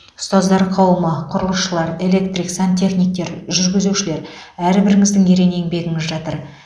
ұстаздар қауымы құрылысшылар электрик сантехниктер жүргізушілер әрбіріңіздің ерен еңбегіңіз жатыр